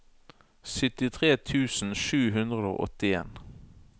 syttitre tusen sju hundre og åttien